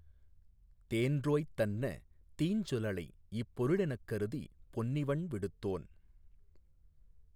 தேன்றோய்த் தன்ன தீஞ்சொ லளைஇப் பொருளெனக் கருதிப் பொன்னிவண் விடுத்தோன்